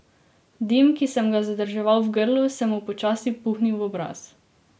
Dim, ki sem ga zadrževal v grlu, sem mu počasi puhnil v obraz.